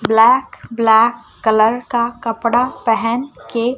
black black colour का कपड़ा पहन के--